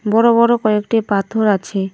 বড়ো বড়ো কয়েকটি পাথর আছে।